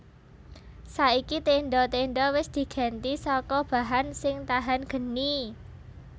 Saiki tendha tendha wis digenti saka bahan sing tahan geni